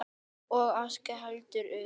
Og Ása ekki heldur.